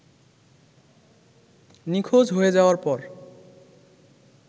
নিখোঁজ হয়ে যাওয়ার পর